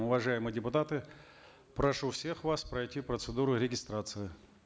уважаемые депутаты прошу всех вас пройти процедуру регистрации